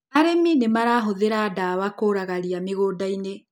Arĩmi nĩmarahũthĩra ndawa kũraga ria mĩgũndainĩ.